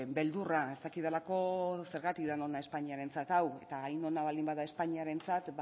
beldurra ez dakidalako zergatik den ona espainiarentzat hau eta hain ona baldin bada espainiarentzat